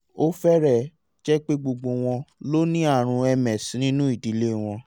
ó fẹ́rẹ̀ẹ́ jẹ́ pé gbogbo wọn ló ní àrùn ms nínú ìdílé wọn